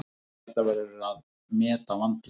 Þetta verður að meta vandlega.